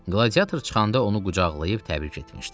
Qladiator çıxanda onu qucaqlayıb təbrik etmişdi.